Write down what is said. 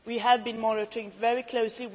We have been monitoring very closely.